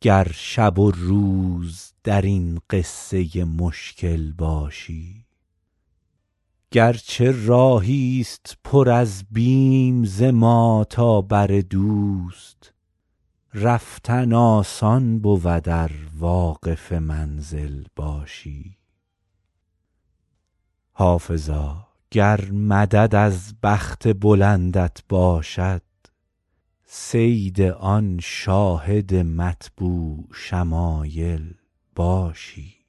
گر شب و روز در این قصه مشکل باشی گر چه راهی ست پر از بیم ز ما تا بر دوست رفتن آسان بود ار واقف منزل باشی حافظا گر مدد از بخت بلندت باشد صید آن شاهد مطبوع شمایل باشی